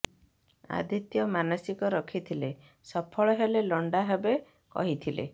ଆଦିତ୍ୟ ମାନସିକ ରଖିଥିଲେ ସଫଳ ହେଲେ ଲଣ୍ଡା ହେବେ କହିଥିଲେ